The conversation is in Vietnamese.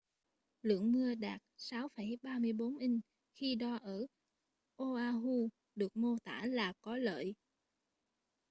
lượng mưa đạt 6,34 inch khi đo ở oahu được mô tả là có lợi